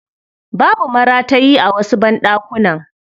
Babu maratayi a wasu banɗakunan.